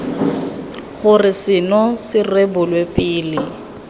gore seno se rebolwe pele